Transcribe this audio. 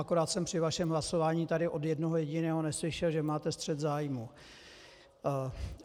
Akorát jsem při vašem hlasování tady od jednoho jediného neslyšel, že máte střet zájmů.